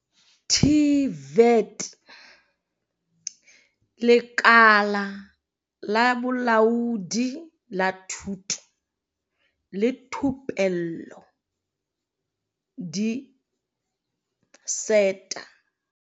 TVET le Lekala la Bolaodi ba Thuto le Thupello di-SETA.